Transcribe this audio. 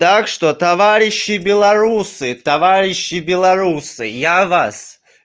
так что товарищи белорусы товарищи белорусы я вас